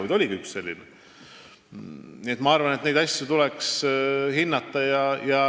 Nii et ma arvan, et neid asju tuleks hinnata.